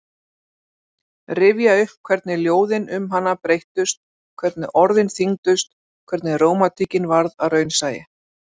Rifja upp hvernig ljóðin um hana breyttust, hvernig orðin þyngdust, hvernig rómantíkin varð að raunsæi.